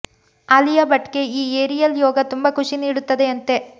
ಆಲಿಯಾ ಭಟ್ ಗೆ ಈ ಏರಿಯಲ್ ಯೋಗ ತುಂಬಾ ಖುಷಿ ನೀಡುತ್ತದೆಯಂತೆ